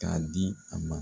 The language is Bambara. K'a di a ma